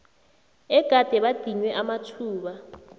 egade badinywe amathuba